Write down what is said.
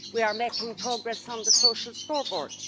we are making progress on the social scoreboard